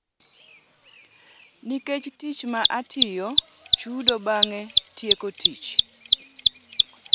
Nikech tich ma atiyo, chudo bang’ tieko tich.